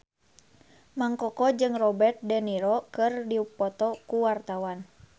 Mang Koko jeung Robert de Niro keur dipoto ku wartawan